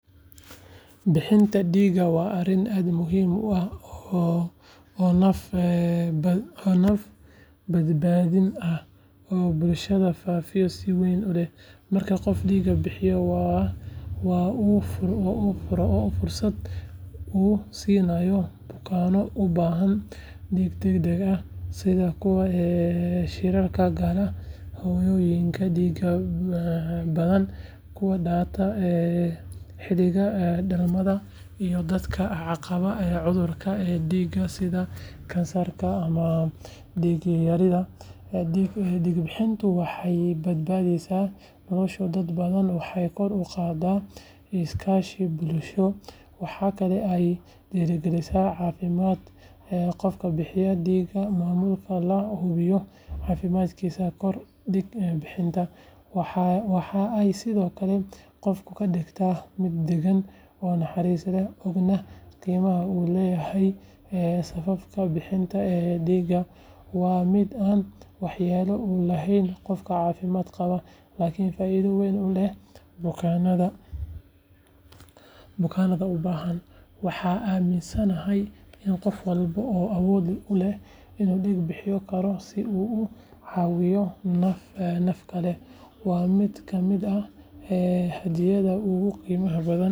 Bixinta dhiigga waa arrin aad muhiim u ah oo naf-badbaadin ah oo bulshada faa’iido weyn u leh. Marka qof dhiig bixiyo, waxa uu fursad u siinayaa bukaanno u baahan dhiig degdeg ah sida kuwa shilalka gala, hooyooyinka dhiigga badan ku daata xilliga dhalmada, iyo dadka qaba cudurrada dhiigga sida kansarka ama dhiig-yarida. Dhiig bixintu waxay badbaadisaa nolosha dad badan waxayna kor u qaaddaa is-kaashi bulsho. Waxa kale oo ay dhiirrigelisaa caafimaadka qofka bixiya dhiigga maadaama la hubiyo caafimaadkiisa kahor dhiig bixinta. Waxa ay sidoo kale qofka ka dhigtaa mid deggan oo naxariis leh, ogna qiimaha uu leeyahay samafalka. Bixinta dhiigga waa mid aan waxyeello u lahayn qofka caafimaad qaba, laakiin faa’iido weyn u leh bukaanada u baahan. Waxaan aaminsanahay in qof walba oo awood u leh uu dhiig bixin karo si uu u caawiyo naf kale. Waa mid ka mid ah hadiyadaha ugu qiimaha badan.